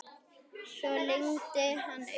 Svo lygndi hann augunum aftur.